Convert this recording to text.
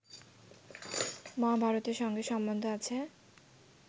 মহাভারতের সঙ্গে সম্বন্ধ আছে